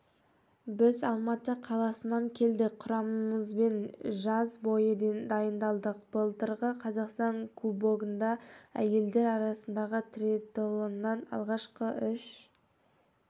біз алматы қаласынан келдік құрамамызбен жаз бойы дайындалдық былтырғы қазақстан кубогында әйелдер арасындағы триатлонннан алғашқы үш